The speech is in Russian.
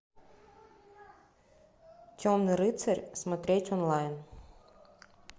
темный рыцарь смотреть онлайн